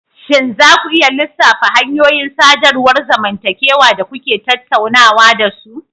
Shin za ku iya lissafa hanyoyin sadarwar zamantakewa da kuke tattaunawa da su?